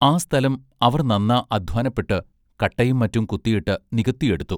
ആ സ്ഥലം അവർ നന്നാ അദ്ധ്വാനപ്പെട്ട് കട്ടയും മറ്റും കുത്തിയിട്ട് നികത്തിയെടുത്തു.